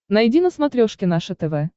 найди на смотрешке наше тв